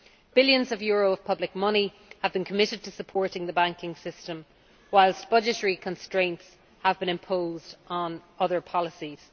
Billions of euros of public money have been committed to supporting the banking system, whilst budgetary constraints have been imposed on other policies.